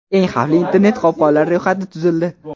Eng xavfli internet-qopqonlar ro‘yxati tuzildi.